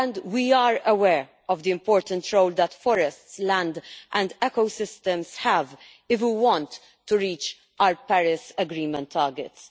We are aware of the important role that forests, land and ecosystems have if we want to reach our Paris Agreement targets.